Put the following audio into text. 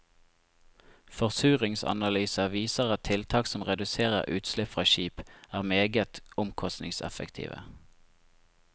Forsuringsanalyser viser at tiltak som reduserer utslipp fra skip, er meget omkostningseffektive.